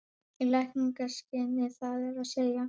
Í lækningaskyni það er að segja?